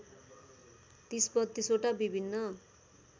३० ३२ वटा विभिन्न